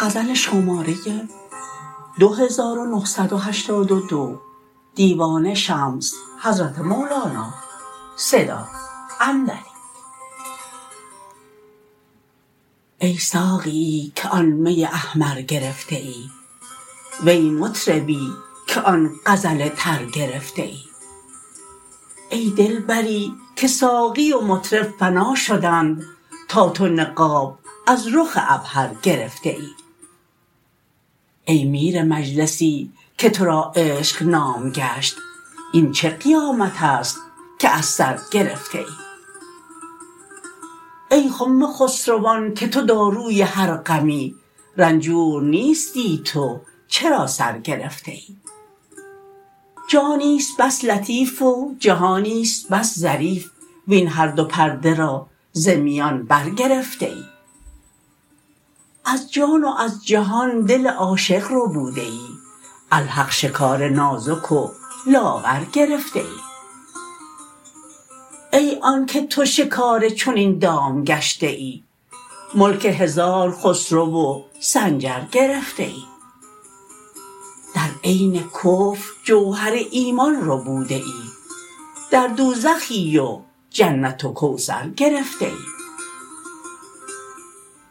ای ساقیی که آن می احمر گرفته ای وی مطربی که آن غزل تر گرفته ای ای دلبری که ساقی و مطرب فنا شدند تا تو نقاب از رخ عبهر گرفته ای ای میر مجلسی که تو را عشق نام گشت این چه قیامت است که از سر گرفته ای ای خم خسروان که تو داروی هر غمی رنجور نیستی تو چرا سر گرفته ای جانی است بس لطیف و جهانی است بس ظریف وین هر دو پرده را ز میان برگرفته ای از جان و از جهان دل عاشق ربوده ای الحق شکار نازک و لاغر گرفته ای ای آنک تو شکار چنین دام گشته ای ملک هزار خسرو و سنجر گرفته ای در عین کفر جوهر ایمان ربوده ای در دوزخی و جنت و کوثر گرفته ای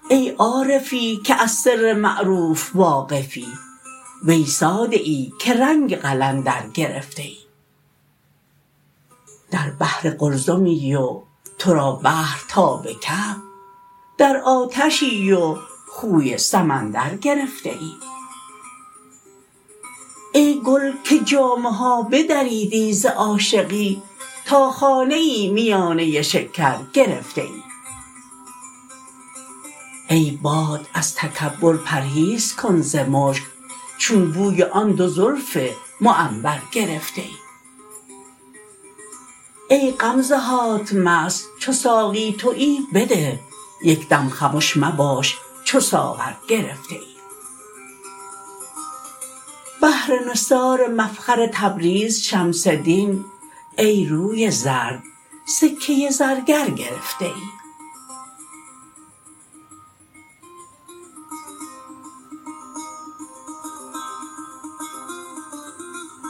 ای عارفی که از سر معروف واقفی وی ساده ای که رنگ قلندر گرفته ای در بحر قلزمی و تو را بحر تا به کعب در آتشی و خوی سمندر گرفته ای ای گل که جامه ها بدریدی ز عاشقی تا خانه ای میانه شکر گرفته ای ای باد از تکبر پرهیز کن ز مشک چون بوی آن دو زلف معنبر گرفته ای ای غمزه هات مست چو ساقی توی بده یک دم خمش مباد چو ساغر گرفته ای بهر نثار مفخر تبریز شمس دین ای روی زرد سکه زرگر گرفته ای